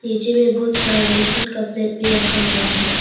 पीछे में बहुत सारा बेसिन का प्लेट भी रखा हुआ है।